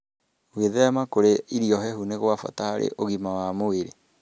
Gwĩthema kũrĩa irio hehu nĩ kwa bata harĩ ũgima wa mwĩrĩ.